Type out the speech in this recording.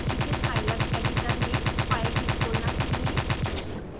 इसे scilab editor में file भी खोलना चाहिए